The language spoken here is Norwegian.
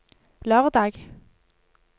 lørdag